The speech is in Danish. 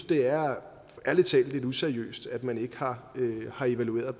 det er lidt useriøst at man ikke har har evalueret